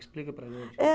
Explica para a gente. Eh